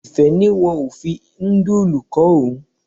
Ìfẹ́ ní wọn ò fi nudulu kó òun.